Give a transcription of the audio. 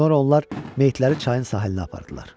Sonra onlar meyitləri çayın sahilinə apardılar.